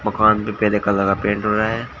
मकान पे पीले कलर का पेंट हो रहा है।